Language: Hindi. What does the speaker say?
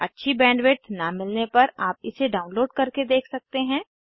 अच्छी बैंडविड्थ न मिलने पर आप इसे डाउनलोड करके देख सकते हैं